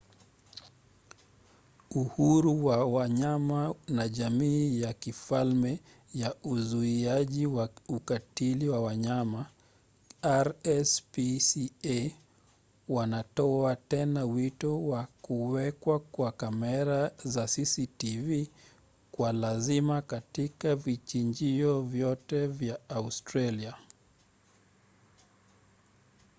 uhuru wa wanyama na jamii ya kifalme ya uzuiaji wa ukatili kwa wanyama rspca wanatoa tena wito wa kuwekwa kwa kamera za cctv kwa lazima katika vichinjio vyote vya australia